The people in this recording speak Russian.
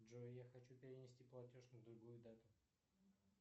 джой я хочу перенести платеж на другую дату